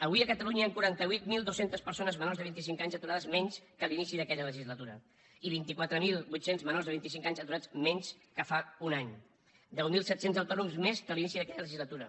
avui a catalunya hi han quaranta vuit mil dos cents persones menors de vint i cinc anys aturades menys que l’inici d’aquella legislatura i vint quatre mil vuit cents menors de vint i cinc anys aturats menys que fa un any deu mil set cents autònoms més que l’inici d’aquella legislatura